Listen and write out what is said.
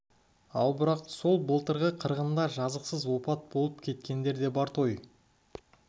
ал бірақ сол былтырғы қырғында жазықсыз опат болып кеткендер де бар той